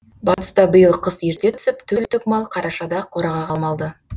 батыста биыл қыс ерте түсіп төрт түлік мал қарашада қораға қамалды